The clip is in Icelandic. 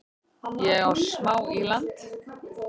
Ég á smá í land